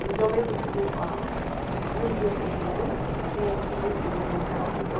Porque eu lembro de o a dos primeiros dias que eu cheguei ali, tinha tinha uma empresa grande, que era a Vulcão,